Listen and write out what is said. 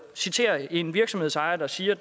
citere en virksomhedsejer der siger